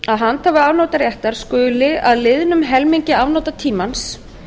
að handhafi afnotaréttar skuli að liðnum helmingi afnotatímans